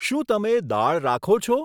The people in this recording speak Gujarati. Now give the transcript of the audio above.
શું તમે દાળ રાખો છો?